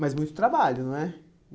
Mas muito trabalho, não é?